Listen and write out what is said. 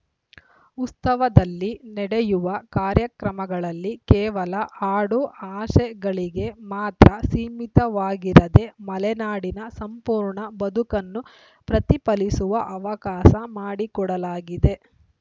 ಉತ್ಸವದಲ್ಲಿ ನಡೆಯುವ ಕಾರ್ಯಕ್ರಮಗಳಲ್ಲಿ ಕೇವಲ ಹಾಡು ಹಸೆಗಳಿಗೆ ಮಾತ್ರ ಸೀಮಿತವಾಗಿರದೆ ಮಲೆನಾಡಿನ ಸಂಪೂರ್ಣ ಬದುಕನ್ನು ಪ್ರತಿಫಲಿಸುವ ಅವಕಾಶ ಮಾಡಿಕೊಡಲಾಗಿದೆ